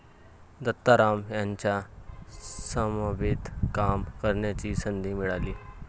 दत्ताराम यांच्या समवेत काम करण्याची संधी मिळाली.